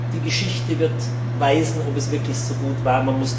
Die Geschichte wird zeigen, ob es wirklich gut so war.